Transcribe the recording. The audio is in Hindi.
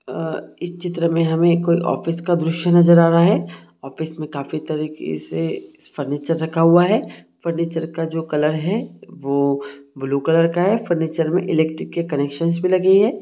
आह इस चित्र मे हमे कोई ऑफिस का दृश्य नजर आ रहा है ऑफिस में काफी तरीके से फर्नीचर रखा हुआ है फर्नीचर का जो कलर है वह ब्लू कलर का है फर्नीचर में इलेक्ट्रिक के कनेक्शन भी लगी हैं।